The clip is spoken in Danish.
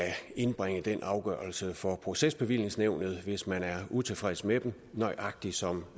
indbringe den afgørelse for procesbevillingsnævnet hvis man er utilfreds med den nøjagtig som